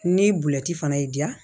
Ni bulɛti fana y'i diya